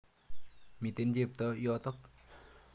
Miten chepto yotok.